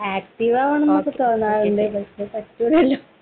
ആക്റ്റീവാകാനൊന്നും തോന്നാറില്ല. വെറുതെ .